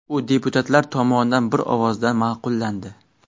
U deputatlar tomonidan bir ovozdan ma’qullandi.